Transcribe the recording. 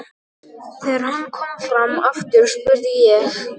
Þegar hann kom fram aftur spurði ég